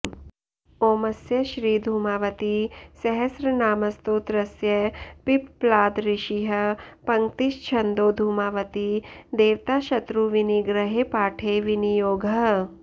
ओमस्य श्रीधूमावतीसहस्रनामस्तोत्रस्य पिप्पलाद ऋषिः पङ्क्तिश्छन्दो धूमावती देवता शत्रुविनिग्रहे पाठे विनियोगः